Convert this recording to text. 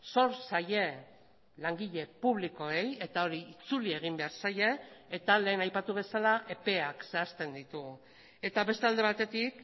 zor zaie langile publikoei eta hori itzuli egin behar zaie eta lehen aipatu bezala epeak zehazten ditugu eta beste alde batetik